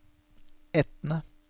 Etne